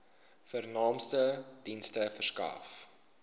vernaamste dienste verskaf